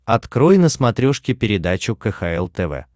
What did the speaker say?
открой на смотрешке передачу кхл тв